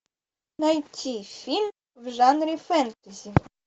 найти фильм в жанре фэнтези